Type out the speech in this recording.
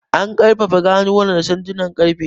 An ƙarfafa ganuwar da sandunan ƙarfe.